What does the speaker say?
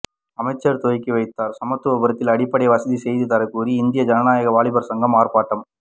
அமைச்சர் துவக்கி வைத்தார் சமத்துவபுரத்தில் அடிப்படை வசதி செய்து தரக்கோரி இந்திய ஜனநாயக வாலிபர் சங்கம் ஆர்ப்பாட்டம்